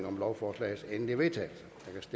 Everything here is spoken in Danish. om lovforslagets endelige vedtagelse